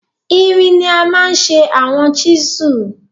Irin ni a maa n ṣe awọn chisels